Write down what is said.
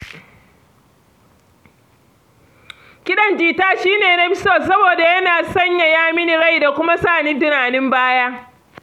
Kiɗan jita shi ne na fi so saboda yana sanyaya min rai da kuma sa ni tunanin baya.